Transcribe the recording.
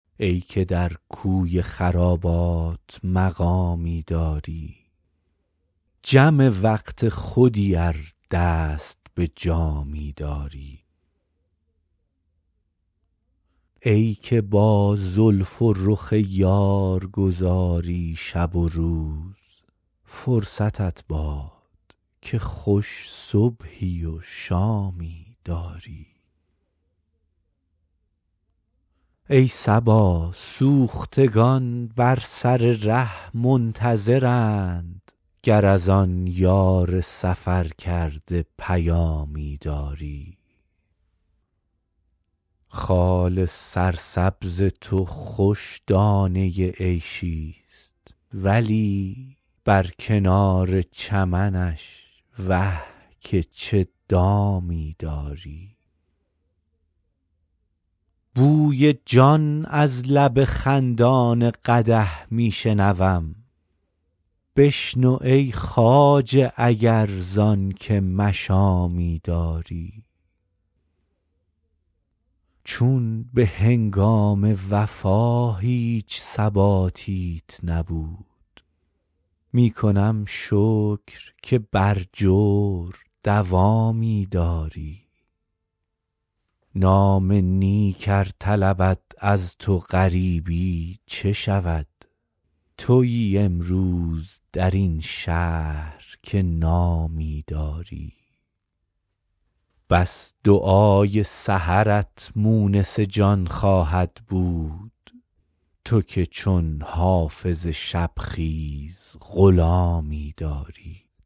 ای که در کوی خرابات مقامی داری جم وقت خودی ار دست به جامی داری ای که با زلف و رخ یار گذاری شب و روز فرصتت باد که خوش صبحی و شامی داری ای صبا سوختگان بر سر ره منتظرند گر از آن یار سفرکرده پیامی داری خال سرسبز تو خوش دانه عیشی ست ولی بر کنار چمنش وه که چه دامی داری بوی جان از لب خندان قدح می شنوم بشنو ای خواجه اگر زان که مشامی داری چون به هنگام وفا هیچ ثباتیت نبود می کنم شکر که بر جور دوامی داری نام نیک ار طلبد از تو غریبی چه شود تویی امروز در این شهر که نامی داری بس دعای سحرت مونس جان خواهد بود تو که چون حافظ شب خیز غلامی داری